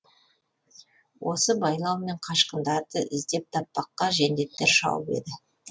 осы байлаумен қашқындарды іздеп таппаққа жендеттер шауып еді